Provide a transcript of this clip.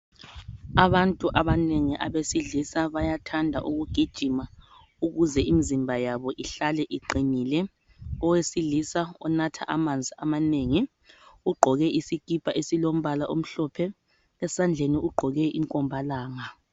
Abantu abanengi abesilisa bayathanda ukugijima ukuze imzimba yabo ihlale iqinile. Owesilisa onatha amanzi amanengi, ugqoke isikipa esilombala omhlophe. Esandleni ugqoke inkombalanga.